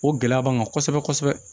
O gɛlɛya b'an kan kosɛbɛ kosɛbɛ